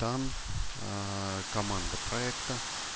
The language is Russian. там команда проекта